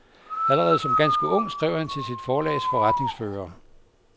Allerede som ganske ung skrev han til sit forlags forretningsfører.